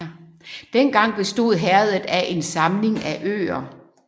Dengang bestod herredet af en samling af øer